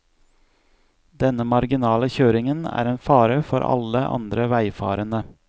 Denne marginale kjøringen er en fare for alle andre veifarende.